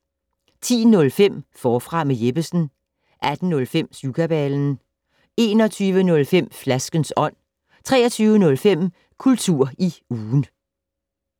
10:05: Forfra med Jeppesen 18:05: Syvkabalen 21:05: Flaskens ånd 23:05: Kultur i ugen